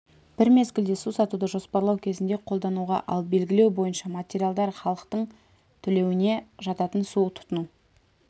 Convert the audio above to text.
бір мезгілде су сатуды жоспарлау кезінде қолдануға ал белгілеу бойынша материалдар халықтың төлеуіне жататын су тұтыну